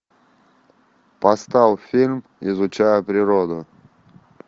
поставь фильм изучая природу